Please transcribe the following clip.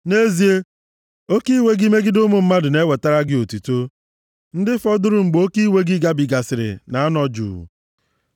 Nʼezie, oke iwe gị megide ụmụ mmadụ na-ewetara gị otuto, + 76:10 \+xt Ọpụ 9:16-18; Rom 9:17\+xt* ndị fọdụrụ mgbe oke iwe gị gabigasịrị, na-anọ juu.